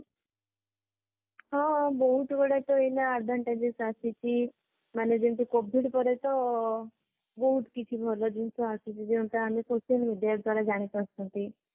ହଁ ବହୁତ ଗୁଡିଏତ ଏଇନା advantages ଆସିଛି ମାନେ ଯେମତି covid ପରେ ତ ବହୁତ କିଛି ଭଲ ଜିନିଷ ଆସିଛି ଯେମତି ତାହା social media ଦ୍ଵାରା ଜାଣିପାରୁଛନ୍ତି